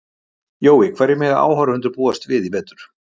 Jói, hverju mega áhorfendur búast við í vetur?